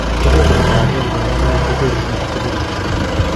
Kebeberta agenge nebo mole koterchin ak kebeberta age